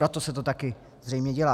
Proto se to taky zřejmě dělá.